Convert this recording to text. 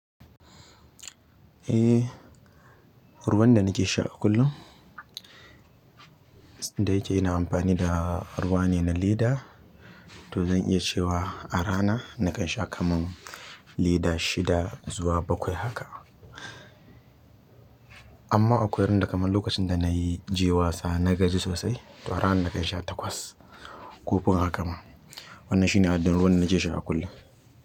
Eh, ruwan da nake sha kullum, da yake ina amfani da ruwa ne na leda to zan iya cewa a rana nakan sha kaman leda shida zuwa bakwai haka. Amma akwai ran da kaman lokacin da naje wasa na gaji sosai, to a ran nakan sha takwas ko fi haka ma. Wannan shine adadin ruwan da nake sha kullum.